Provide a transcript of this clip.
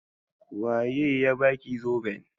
Waye ya baki zoben?